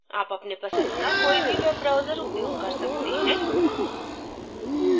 आप अपने पसंद का कोई भी web browser उपयोग कर सकते हैं